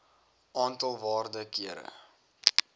aantal waarde kere